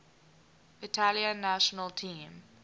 italian national team